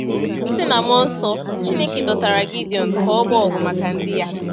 Site n’mmụọ nsọ, Chineke dọtara Gidion ka ọ gbaa ọgụ maka ndị Ya.